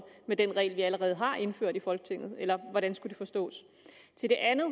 med den regel vi allerede har indført i folketinget eller hvordan skulle det forstås til det andet